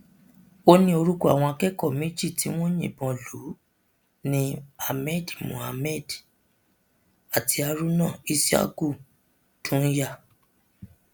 ó ní orúkọ àwọn akẹkọọ méjì tí wọn yìnbọn lù ni ahmad muhammad àti haruna is yaku dùnyà